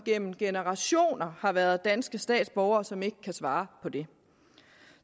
gennem generationer har været danske statsborgere og som ikke kan svare på det